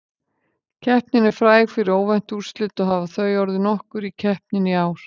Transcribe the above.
Keppnin er fræg fyrir óvænt úrslit og hafa þau orðið nokkur í keppninni í ár.